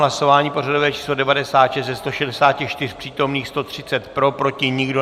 Hlasování pořadové číslo 96, ze 164 přítomných 130 pro, proti nikdo.